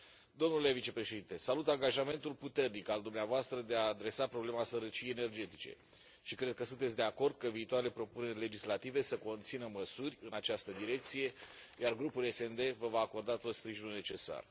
Domnule vicepreședinte, salut angajamentul puternic al dumneavoastră de a adresa problema sărăciei energetice și cred că sunteți de acord ca viitoarele propuneri legislative să conțină măsuri în această direcție, iar grupul SD vă va acorda tot sprijinul necesar.